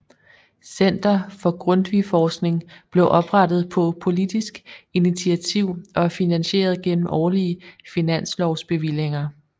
Center for Grundtvigforskning blev oprettet på politisk initiativ og er finansieret gennem årlige finanslovsbevillinger